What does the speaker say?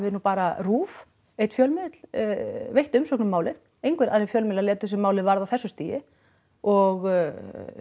nú bara RÚV einn fjölmiðill veitt umsögn um málið engir aðrir fjölmiðlar létu sig málið varða á þessu stigi og